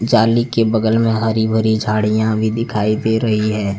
जाली के बगल में हरी भरी झाड़ियां भी दिखाई दे रही है।